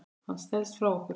Hann stelst frá okkur.